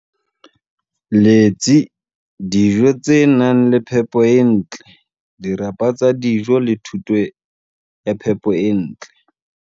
Letsi, dijo tse nang le phepo e ntle, dirapa tsa dijo le thuto ya phepo e ntle.